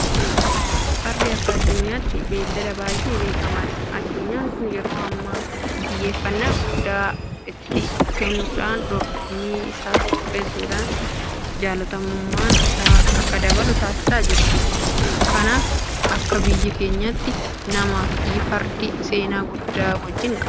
Fardi akka addunyaatti beellada baay'ee beekamaadha. Addunyaan kun yeroo ammaa xiyyeeffannaa guddaa itti kennuudhaan dorgommii isaas qopheessuudhaan jaalatamummaan isaa akka dabalu taasisaa jirti. Kanaaf akka biyya keenyaattis namaafi fardi seenaa guddaa wajjin qabu. Hanga sadarkaa waraanaatti ittiin hirmaachuudhaan birmadummaa keenya mirkaneessuudhaaf nufayyadaa tureera.